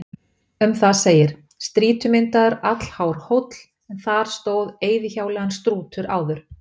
Um það segir: Strýtumyndaður, allhár hóll, en þar stóð eyðihjáleigan Strútur áður.